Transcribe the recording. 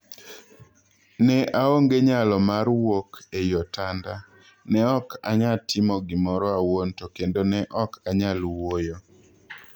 "Ne aonge nyalo mar wuok ei otanda, ne ok anyatimo gimoro awuon to kendo ne ok anyal wuoyo.